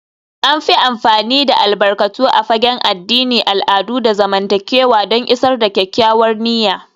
An fi amfani da albarkatu a fagen addini, al'adu, da zamantakewa don isar da kyakkyawar niyya